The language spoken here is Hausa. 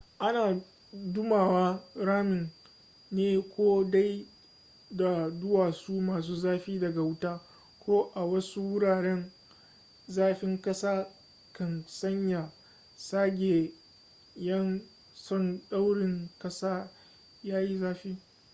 ana dumama ramin ne ko dai da duwatsu masu zafi daga wuta ko a wasu wuraren zafin ƙasa kan sanya zagayen tsandaurin ƙasa ya yi zafi